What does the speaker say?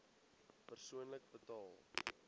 persoonlik betaal